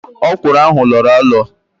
Ókwụ̀rụ̀ ahụ lọọrọ alọ